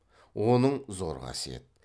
оның зор қасиет